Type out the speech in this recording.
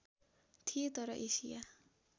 थिए तर एसिया